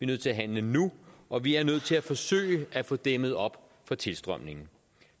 nødt til at handle nu og vi er nødt til at forsøge at få dæmmet op for tilstrømningen